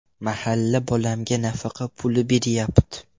Mahalla bolamga nafaqa puli beryapti.